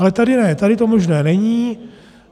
Ale tady ne, tady to možné není.